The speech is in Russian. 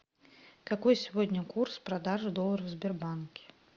какой сегодня курс продажи доллара в сбербанке